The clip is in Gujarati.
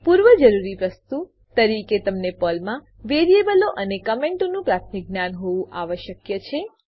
પૂર્વજરૂરી વસ્તુ તરીકે તમને પર્લમાનાં વેરીએબલો અને કમેંટોનું પ્રાથમિક જ્ઞાન હોવું આવશ્યક છે